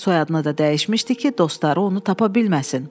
Soyadını da dəyişmişdi ki, dostları onu tapa bilməsin.